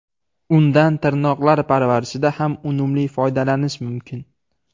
Undan tirnoqlar parvarishida ham unumli foydalanish mumkin.